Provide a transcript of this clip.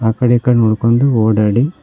ಆ ಕಡೆ ಈ ಕಡೆ ನೋಡ್ಕೊಂಡು ಓಡಾಡಿ--